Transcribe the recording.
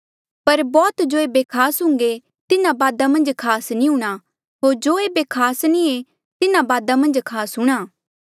पर बौह्त जो ऐबे खास हुन्घे तिन्हा बादा मन्झ खास नी हूंणां होर जो ऐबे खास नी ऐें तिन्हा बादा खास हूंणां